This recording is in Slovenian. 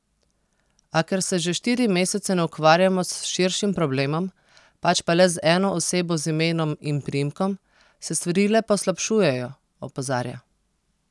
A ker se že štiri mesece ne ukvarjamo s širšim problemom, pač pa le z eno osebo z imenom in priimkom, se stvari le poslabšujejo, opozarja.